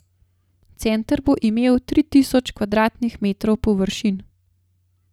Center bo imel tri tisoč kvadratnih metrov površin.